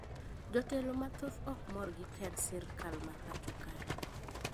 jotelo mathoth okmor gi tend sirkal ma pacho kae